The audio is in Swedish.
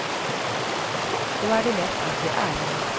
Då är det lätt att bli arg.